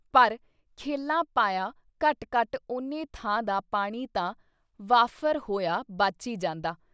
ਪਰ ਖੇਲਾਂ ਪਾਇਆਂ ਘੱਟ ਘੱਟ ਉਨੇ ਥਾਂ ਦਾ ਪਾਣੀ ਤਾਂ ਵਾਫ਼ਰ ਹੋਇਆ ਬਚ ਈ ਜਾਂਦਾ।